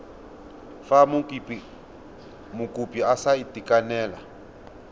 fa mokopi a sa itekanela